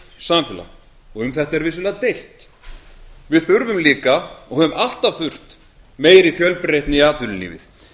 samfélag og um þetta er deilt við þurfum líka og höfum alltaf þurft meiri fjölbreytni í atvinnulífið